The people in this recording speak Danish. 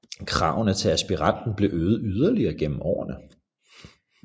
Kravene til aspiranten blev øget yderligere gennem årene